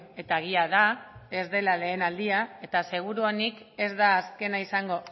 eta egia da ez dela lehen aldia eta seguruenik ez da azkena izango